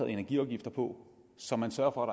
energiafgifter på så man sørger